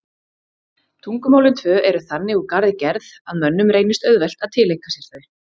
Tungumálin tvö eru þannig úr garði gerð að mönnum reynist auðvelt að tileinka sér þau.